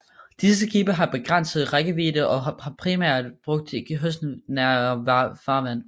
Disse skibe har en begrænset rækkevidde og var primært brugt i kystnære farvand